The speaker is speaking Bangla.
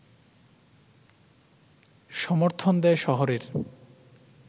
সমর্থন দেয় শহরের